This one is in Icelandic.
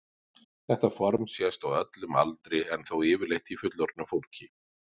Þetta form sést á öllum aldri en þó yfirleitt í fullorðnu fólki.